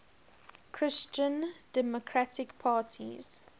christian democratic parties